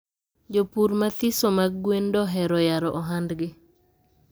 jopur mathiso mag gwen dohero yaro ohandgi